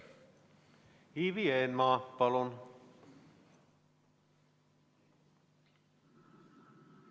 Ivi Eenmaa, palun!